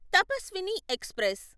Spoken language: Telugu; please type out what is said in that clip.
తపస్విని ఎక్స్ప్రెస్